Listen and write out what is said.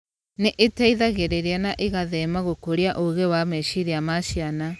Nĩ ĩteithagĩrĩria na ĩgatheema/gũkũria ũgĩ wa meciria ma ciana.